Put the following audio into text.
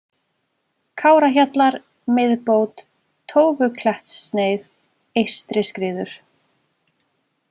Kárahjallar, Miðbót, Tófuklettssneið, Eystriskriður